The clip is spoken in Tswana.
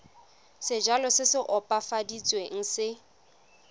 sejalo se se opafaditsweng se